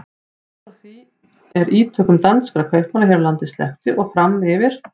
Allt frá því er ítökum danskra kaupmanna hér á landi sleppti og fram yfir